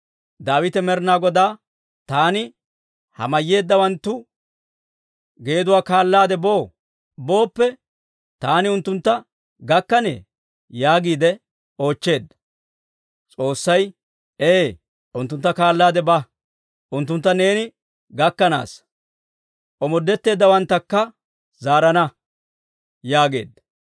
Daawite Med'inaa Godaa, «Taani ha mayyeeddawanttu geeduwaa kaallaade boo? Booppe taani unttuntta gakkanee?» yaagiide oochcheedda. S'oossay, «Ee; unttuntta kaallaade ba; unttuntta neeni gakkanaasa; omoodetteeddawanttakka zaarana» yaageedda.